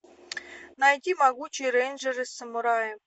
найти могучие рейнджеры самураи